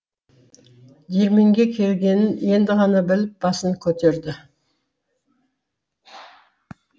диірменге келгенін енді ғана біліп басын көтерді